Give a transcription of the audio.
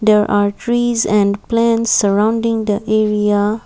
there are trees and plants surrounding the area.